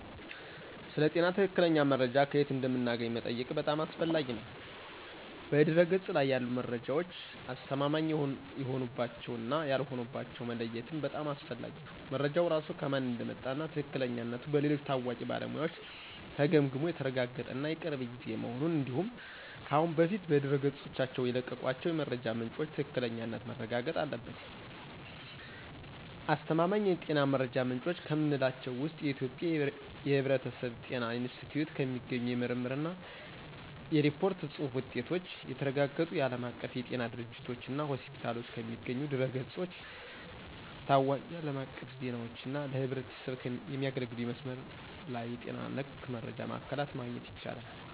ስለ ጤና ትክክለኛ መረጃ ከየት እንደምናገኝ መጠየቅህ በጣም አስፈላጊ ነው። በድህረ-ገጽ ላይ ያሉ መረጃዎች አስተማማኝ የሆኑባቸውን እና ያልሆኑባቸውን መለየትም በጣም አስፈላጊ ነው። መረጃው ራሱ ከማን እንደመጣ እና ትክክለኛነቱ በሌሎች ታዋቂ ባለሙያዎች ተገምግሞ የተረጋገጠ እና የቅርብ ጊዜ መሆኑን እንዲሁም ከአሁን በፊት በድረገጾቻቸው የለቀቋቸው የመረጃ ምንጮች ትክክለኛነት ማረጋገጥ አለብን። አስተማማኝ የጤና መረጃ ምንጮች ከምንላቸው ውስጥ የኢትዮጵያ የሕብረተሰብ ጤና ኢንስቲትዩት ከሚገኙ የምርምር እና የሪፖርት ጽሁፍ ውጤቶች፣ የተረጋገጡ የዓለም አቀፍ የጤና ድርጅቶችና ሆስፒታሎች ከሚገኙ ድረ-ገጾች፣ ታዋቂ አለም አቀፍ ዜናዎች እና ለህዝብ የሚያገለግሉ የመስመር ላይ የጤና ነክ መረጃ ማዕከላት ማግኘት ይቻላል።